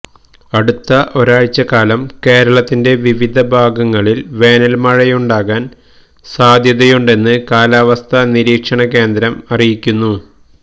അടുത്ത ഒരാഴ്ചക്കാലം കേരളത്തിന്റെ വിവിധ ഭാഗങ്ങളില് വേനല്മഴയുണ്ടാകാന് സാധ്യതയുണ്ടെന്ന് കാലാവസ്ഥാ നിരീക്ഷണ കേന്ദ്രം അറിയിക്കുന്നു